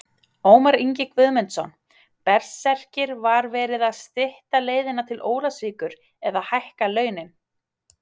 Ómar Ingi Guðmundsson, Berserkir Var verið að stytta leiðina til Ólafsvíkur eða hækka launin?